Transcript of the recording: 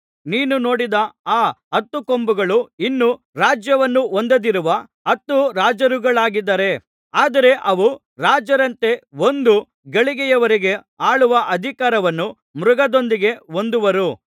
ನೀನು ನೋಡಿದ ಆ ಹತ್ತು ಕೊಂಬುಗಳು ಇನ್ನೂ ರಾಜ್ಯವನ್ನು ಹೊಂದದಿರುವ ಹತ್ತು ರಾಜರುಗಳಾಗಿದ್ದಾರೆ ಆದರೆ ಅವು ರಾಜರಂತೆ ಒಂದು ಗಳಿಗೆಯವರೆಗೆ ಆಳುವ ಅಧಿಕಾರವನ್ನು ಮೃಗದೊಂದಿಗೆ ಹೊಂದುವರು